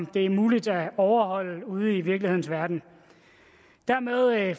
det er muligt at overholde ude i virkelighedens verden dermed